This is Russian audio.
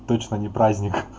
точно не праздник